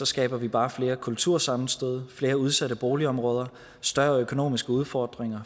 skaber vi bare flere kultursammenstød flere udsatte boligområder større økonomiske udfordringer